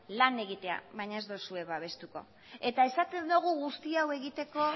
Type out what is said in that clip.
lan egitea baina ez duzue babestuko eta esaten dugu guzti hau egiteko